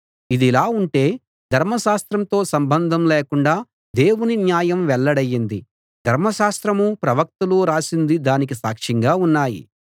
ఇదిలా ఉంటే ధర్మశాస్త్రంతో సంబంధం లేకుండా దేవుని న్యాయం వెల్లడైంది ధర్మశాస్త్రమూ ప్రవక్తలూ రాసింది దానికి సాక్ష్యంగా ఉన్నాయి